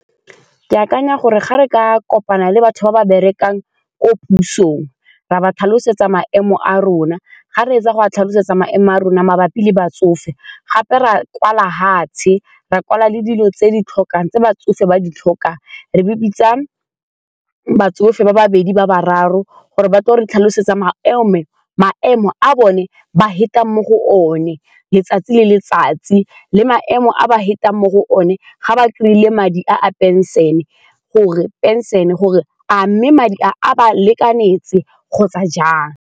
Ke akanya gore ga re ka kopana le batho ba ba berekang ko pusong ra ba tlhalosetsa maemo a rona, ga re fetsa go a tlhalosetsa maemo a rona mabapi le batsofe gape ra kwala fatshe ra kwala le dilo tse di tlhokang tse batsofe ba di tlhokang, re be bitsa batsofe ba babedi ba bararo gore ba tle ba re tlhalosetsa maemo maemo a bone ba fetang mo go one letsatsi le letsatsi le maemo a ba fetang mo go one ga ba kry-ile madi a phenšene gore a mme madi a ba lekanetse kgotsa jang?